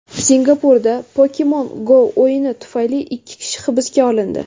Singapurda Pokemon Go o‘yini tufayli ikki kishi hibsga olindi.